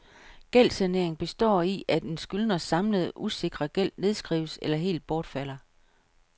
Gældssanering består i, at en skyldners samlede usikrede gæld nedskrives eller helt bortfalder.